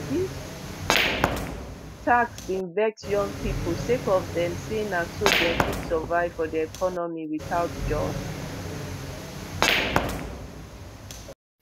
dis tax bin vex young pipo sake of dem say na so dem fit survive for di economy without jobs